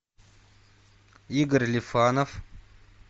игорь лифанов